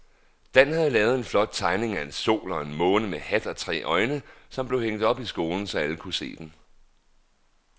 Dan havde lavet en flot tegning af en sol og en måne med hat og tre øjne, som blev hængt op i skolen, så alle kunne se den.